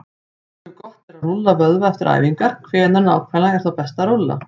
Ef gott er að rúlla vöðva eftir æfingar, hvenær nákvæmlega er þá best að rúlla?